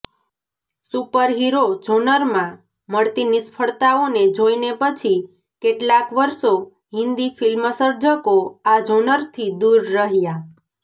superhero જોનરમાં મળતી નિષ્ફળતાઓને જોઈને પછી કેટલાંક વર્ષો હિન્દી ફિલ્મસર્જકો આ જોનરથી દૂર રહ્યા